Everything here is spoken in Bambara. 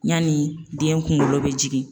Yanni den kungolo be jigin